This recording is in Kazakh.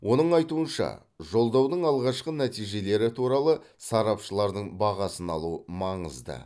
оның айтуынша жолдаудың алғашқы нәтижелері туралы сарапшылардың бағасын алу маңызды